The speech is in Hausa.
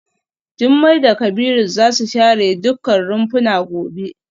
Jumai da Kabiru za su share dukkan rumfuna gobe.